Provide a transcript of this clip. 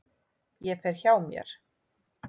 Ég fer hjá mér.